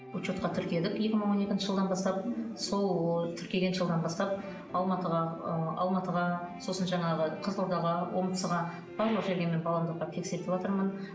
учетка тіркедік екі мың он екінші жылдан бастап сол тіркеген жылдан бастап алматыға ы алматыға сосын жаңағы қызылордаға омскға барлық жерге мен баламды апарып тексертіватырмын